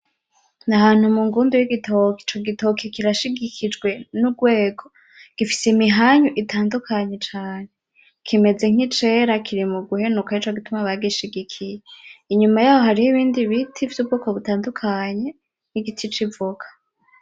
N'ahantu mungundu y'igitoke, Ico gitoke kirashigikijwe N’ugwego, gifise imihanyu itandukanye cane, chimes nkicira Kiri muguhenuka Nico gituma bagishigikiye, inyuma yaho hari ibindi biti vy'ubwoko butandukanye, n'igiti c'ivoka.